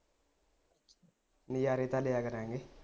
ਨਜਾਰੇ ਤਾ ਲਿਆ ਕਰ ਗੇ